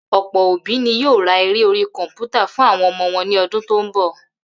Ò̩pò̩ òbí ni yóò ra eré orí kò̩mpútà fún àwo̩n o̩mo̩ wo̩n ní o̩dún tó ń bò̩